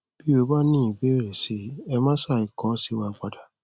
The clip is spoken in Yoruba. bí o bá ní ìbéèrè sí i ẹ má ṣàì kọ sí wa padà